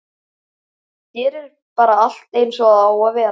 Hér er bara allt eins og það á að vera.